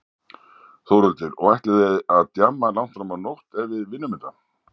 Þórhildur: Og ætlið þið að djamma langt fram á nótt ef við vinnum þetta?